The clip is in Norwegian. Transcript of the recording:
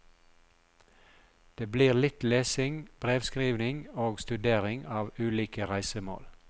Det blir litt lesing, brevskrivning og studering av ulike reisemål.